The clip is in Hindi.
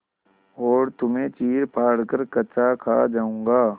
और तुम्हें चीरफाड़ कर कच्चा खा जाऊँगा